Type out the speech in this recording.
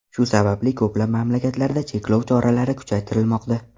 Shu sababli ko‘plab mamlakatlarda cheklov choralari kuchaytirilmoqda.